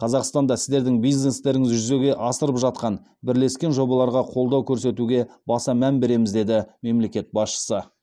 қазақстанда сіздердің бизнестеріңіз жүзеге асырып жатқан бірлескен жобаларға қолдау көрсетуге баса мән береміз деді мемлекет басшысы